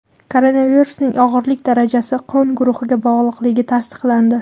Koronavirusning og‘irlik darajasi qon guruhiga bog‘liqligi tasdiqlandi.